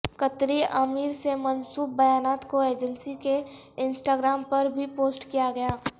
قطری امیر سے منسوب بیانات کو ایجسنی کے انسٹاگرام پر بھی پوسٹ کیا گیا